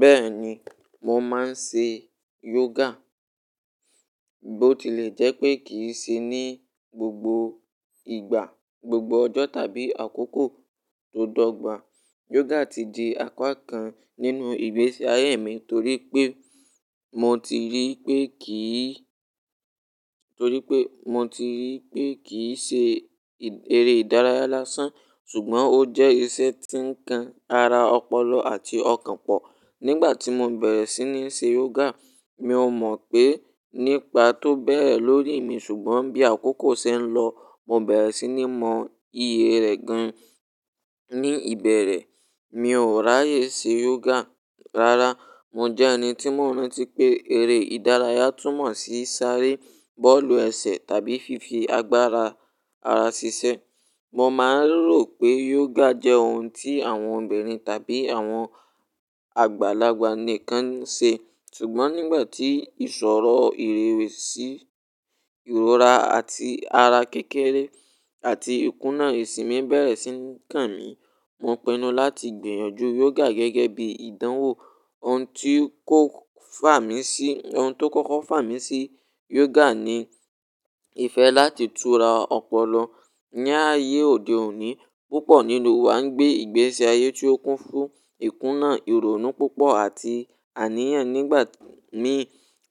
Bẹ́ẹ̀ni, mo máa ń ṣe yoga. Bó tilẹ̀ jẹ́ pé kì í ṣe ní gbogbo ìgbà, gbogbo ọjọ́ tàbí àkókò tó dọ́gba, yoga ti di apá kan nínú ìgbésí ayé mi torí pé mo ti rí pé kì í, torí pé mo ti rí í pé kì í ṣe eré ìdárayá lásán. Ṣùgbọ́n ó jẹ́ iṣẹ́ tí ń kan ara ọpọlọ àti ọkàn pọ̀. Nígbà tí mo bẹ̀rẹ̀ sí ní ṣe yoga, mi ò mọ̀ pé nípa tó bẹ̀ẹ̀ lórí mi. Ṣùgbọ́n bí àkókò ṣe ń lọ, mo bẹ̀rẹ̀ sí ní mọ iye rẹ̀ gan. Ni ìbẹ̀rẹ̀, mi ò ráyè ṣe yoga rárá. Mo jẹ́ ẹni tí mo ń rántí pé eré ìdárayá túmọ̀ sí sáré, bọ́ọ̀lù ẹsẹ̀ tàbí fífi agbára ara ṣiṣẹ́. Mo máa ń rò pé yoga jẹ́ ohun tí àwọn obìnrin tàbí àwọn àgbàlagbà nìkan ń ṣe. Ṣùgbọ́n nígbà tí ìṣòro ìrèwèsí ìrora àti ara kékeré àti ikúnà ìsinmi bẹ̀rẹ̀ sí ní kan mi, mo pinu láti gbìyànjú yoga gẹ́gẹ́ bí ìdánwò. Ohun tí kòk fà mí sí, ohun tó kọ́kọ́ fà mí sí yoga ni ìfẹ́ láti tura ọpọlọ. Ni ayé òde òní, púpọ̀ nínú wa ń gbé ìgbésí ayé tí ó kún fún ikúnà, ìrònú púpọ̀ àti àníyàn. Nígbà mii,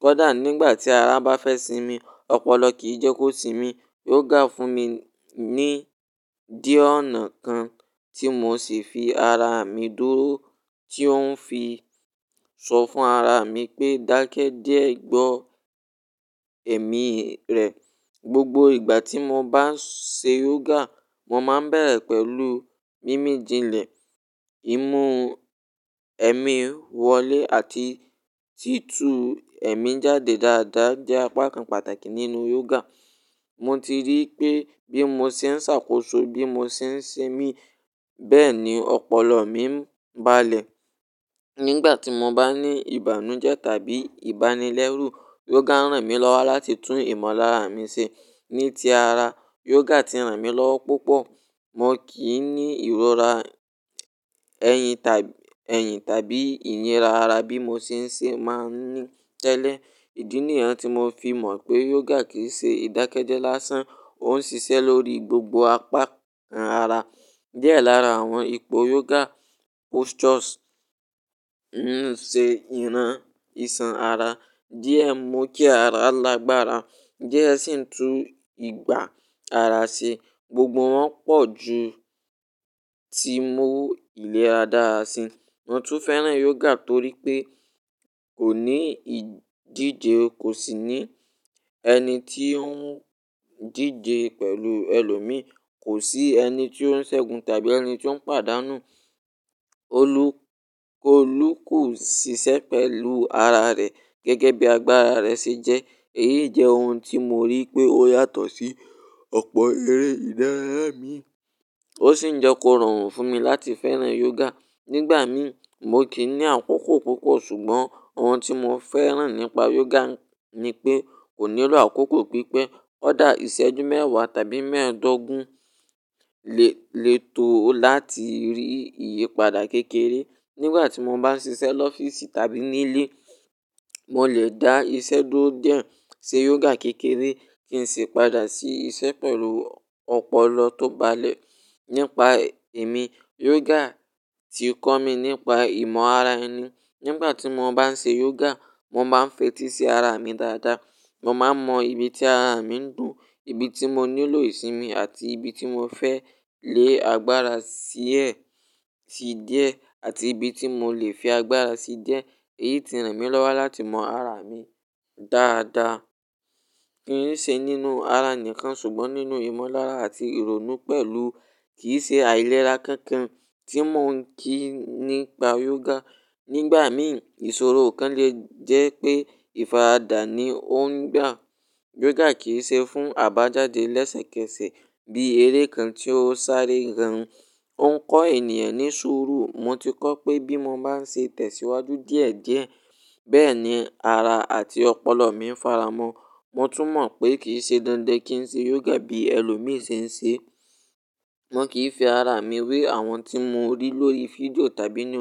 kódà nígbà tí ara bá fẹ́ sinmi, ọpọlọ kì í jẹ́ kó sinmi. Yoga fún mi ní dí ọ̀nà kan tí mò ṣì fi ara mi dúró tí ó ń fi sọ fún ara mi pé, "Dákẹ́ díẹ̀, gbọ́ ẹ̀mí rẹ̀." Gbogbo ìgbà tí mo bá ń ṣe yoga, mo máa ń bẹ̀rẹ̀ pẹ̀lú mímì jinlẹ̀. Ìmú ẹ̀mí wọlé àti títú ẹ̀mí jáde dáadáa jẹ́ apá kan pàtàkì nínú yoga. Mo ti rí i pé bí mo ṣe ń ṣàkóso bí mo ṣe ń ṣemí, bẹ́ẹ̀ ni ọpọlọ mi ń balẹ̀. Nígbà tí mo bá ní ìbànújẹ́ tàbí ìbánilẹ́rù, yoga ń ràn mí lọ́wọ́ láti tún ìmọ̀lára mi ṣe. Ní ti ara, yoga ti ràn mí lọ́wọ́ púpọ̀. Mo kì n ní ìrora ẹ̀yìn tàb, ẹ̀yìn tàbí ìyìnra ara bí mo ṣe ń ṣe máa ń ní tẹ́lẹ̀. Ìdí nìyẹn tí mo fi mọ̀ pé yoga kì í ṣe ìdákẹ́jẹ́ lásán. Ó ń ṣiṣẹ́ lórí gbogbo apá kan ara. Díẹ̀ lára àwọn ipò yoga postures ń ṣe ìran isan ara, díẹ̀ mú kí ara lágbára díẹ̀ sì ń tú ìgbà ara ṣe. Gbogbo wọn pọ̀ ju ti mo lè a dáa sí. Mo tún fẹ́ràn yoga torí pé kò ní ìdíje, kò sì ní ẹni tí ó ń díje pẹ̀lú ẹlòmíí, kò sí ẹni tí ó ń ṣẹ̀gun tàbí ẹni tí ó ń pàdánù. Olú, Olú kò ṣiṣẹ́ pẹ̀lú ara rẹ̀ gẹ́gẹ́ bí agbára rẹ̀ ṣe jẹ́. Èyí jẹ́ ohun tí mo rí pé ó yàtọ̀ sí ọ̀pọ̀ eré ìdárayá mi. Ó sì ń jẹ́ kó rọrùn fún mi láti fẹ́ràn yoga. Nígbà mií, mo kì í ní àkókò púpọ̀. Ṣùgbọ́n ohun tí mo fẹ́ràn nípa yoga ni pé kò nílò àkókò pípẹ́. Ọ̀dà ìṣẹ́jú mẹ́wàá tàbí mẹ́ẹ̀ẹ́dógún lè, lè tó o láti rí ìyípadà kékeré. Nígbà tí mo bá ń ṣiṣẹ́ l'ọ́fíìsì tàbí nílé, mo lè dá iṣẹ́ dúró díẹ̀, ṣe yoga kékeré kí n sì padà sí iṣẹ́ pẹ̀lú ọpọlọ tó balẹ̀. Nípa èmi, yoga ti kọ́ mi nípa ìmọ̀ ara ẹni. Nígbà tí mo bá ń ṣe yoga, mo máa ń fetí sí ara mi dáadáa. Mo máa ń mọ ibi tí ara mi ń dùn, ibi tí mo nílò ìsinmi àti ibi tí mo fẹ́ lé agbára sí ẹ̀ sí díẹ̀ àtibi tí mo lè fi agbára sí díẹ̀. Èyí ti ràn mí lọ́wọ́ láti mọ ara mi dáadáa. Kì n ṣe nínú ara nìkan, ṣùgbọ́n nínú ìmọ̀lára àti ìrònú pẹ̀lú kì í ṣe àìlera kankan tí mo ń kí nípa yoga. Nígbà mií, ìṣòro kan lè jẹ́ pé ìfaradà ni ó ń gbà. Yoga kì í ṣe fún àbájáde lẹ́sẹ̀kẹsẹ̀ bí eré kan tí ó sáré gan. Ó ń kọ́ ènìyàn ní sùúrù. Mo ti kọ́ pé bí mo bá ń ṣetẹ̀síwájú díẹ̀ díẹ̀, bẹ́ẹ̀ ni ara àti ọpọlọ mi ń faramọ́. Mo tún mọ̀ pé kì í ṣe dandan kí n ṣe yoga bí ẹlòmíì ṣe ń ṣe e. Mo kì í fi ara mi wé àwọn tí mo rí lórí fídíò tàbí nù.